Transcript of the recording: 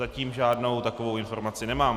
Zatím žádnou takovou informaci nemám.